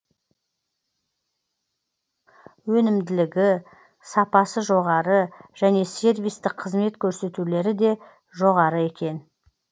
өнімділігі сапасы жоғары және сервистік қызмет көрсетулері де жоғары екен